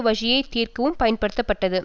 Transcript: வழியை திறக்கவும் பயன்படுத்தப்பட்டது